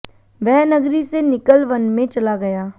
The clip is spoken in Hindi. वह नगरी से निकल वन में चला गया